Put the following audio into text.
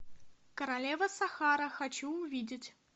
королева сахара хочу увидеть